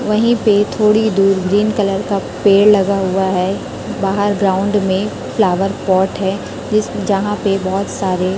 वहीं पे थोड़ी दूर ग्रीन कलर का पेड़ लगा हुआ है बाहर ग्राउंड में फ्लावर पॉट है जिस जहां पे बहोत सारे--